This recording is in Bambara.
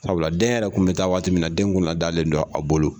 Sabula den yɛrɛ 'un bɛ taa waati min na den yɛrɛ kunna dalen don a bolo.